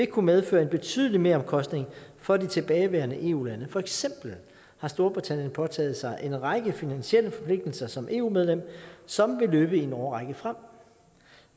kunne medføre en betydelig meromkostning for de tilbageværende eu lande for eksempel har storbritannien påtaget sig en række finansielle forpligtelser som eu medlem som vil løbe i en årrække frem